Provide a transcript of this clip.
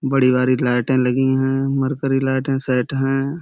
बड़ी वारी लाईटें लगी हैं। मर्करी लाइटें सेट हैं।